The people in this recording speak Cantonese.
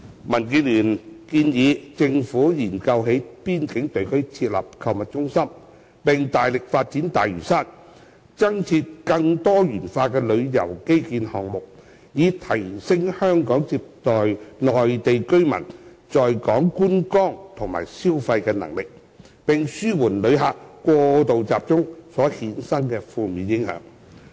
民建聯建議政府研究在邊境地區設立購物中心，並大力發展大嶼山，增設更多元化的旅遊基建項目，以提升香港接待內地居民在港觀光和消費的能力，並紓緩旅客過度集中所衍生的負面影響。